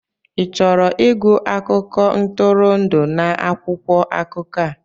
Ị chọrọ ịgụ akụkọ ntụrụndụ n'akwụkwọ akụkọ a?